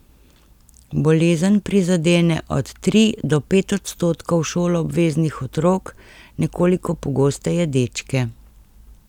Bolezen prizadene od tri do pet odstotkov šoloobveznih otrok, nekoliko pogosteje dečke.